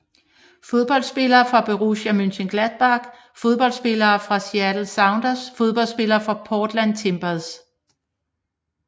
Fodboldspillere fra Borussia Mönchengladbach Fodboldspillere fra Seattle Sounders Fodboldspillere fra Portland Timbers